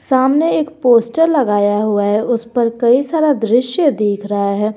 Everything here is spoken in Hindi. सामने एक पोस्टर लगाया हुआ है उसपर कई सारा दृश्य दिख रहा है।